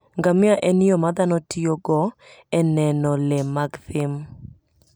Ngamia en yo ma dhano tiyogo e neno le mag thim.